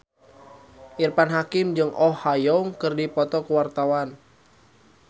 Irfan Hakim jeung Oh Ha Young keur dipoto ku wartawan